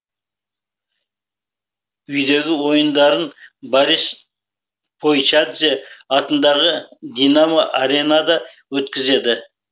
үйдегі ойындарын борис пайчадзе атындағы динамо аренада өткізеді